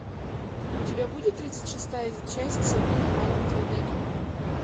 у тебя будет тридцать шестая часть сабрина маленькая ведьма